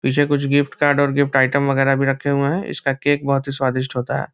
पीछे कुछ gift card और गिफ्ट आइटम वगैरा भी रखे हुए हैं। इसका केक बहुत ही स्वादिष्ट होता है।